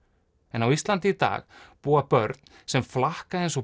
en á Íslandi í dag búa börn sem flakka eins og